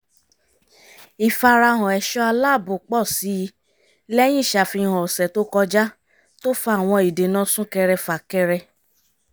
ìfarahàn ẹ̀ṣọ́ aláàbò pọ́ sí i lẹ́yìn ìṣàfihàn ọ̀sẹ̀ tó kọjá tó fa àwọn ìdènà súnkẹrẹ-fà-kẹrẹ